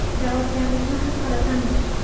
Javobgarlikni his qilasanmi?!